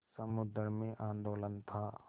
समुद्र में आंदोलन था